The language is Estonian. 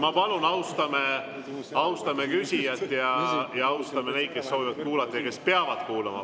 Ma palun, austame küsijat ja austame neid, kes soovivad kuulata ja kes peavad kuulama.